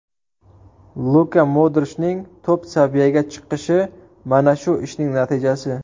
Luka Modrichning top-saviyaga chiqishi mana shu ishning natijasi.